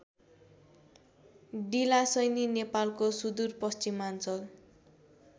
डिलाशैनी नेपालको सुदूरपश्चिमाञ्चल